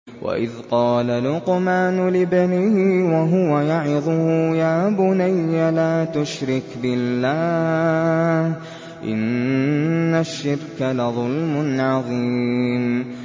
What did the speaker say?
وَإِذْ قَالَ لُقْمَانُ لِابْنِهِ وَهُوَ يَعِظُهُ يَا بُنَيَّ لَا تُشْرِكْ بِاللَّهِ ۖ إِنَّ الشِّرْكَ لَظُلْمٌ عَظِيمٌ